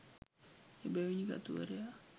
එබැවිනි කතුවරයා